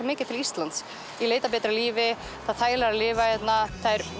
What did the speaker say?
mikið til Íslands í leit að betra lífi það er þægilegra að lifa hérna